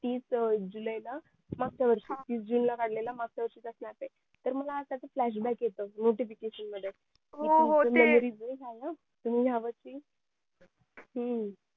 तीस july ला मागच्या वर्षी तीस jun ला काढलेला मागच्या वर्षीचा snap तर मला त्याच flashback येत notification मध्ये हो हो ते